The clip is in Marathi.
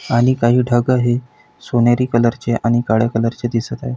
आणि काही ठाक ही सोनेरी कलर ची आणि काळ्या कलरची दिसत आहे.